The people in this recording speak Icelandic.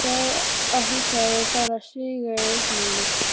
Sá að handklæðið var farið að síga í uppnáminu.